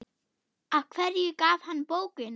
Af hverju gaf hann bókina?